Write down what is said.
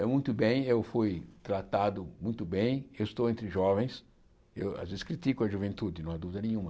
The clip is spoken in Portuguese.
É muito bem, eu fui tratado muito bem, eu estou entre jovens, eu às vezes critico a juventude, não há dúvida nenhuma.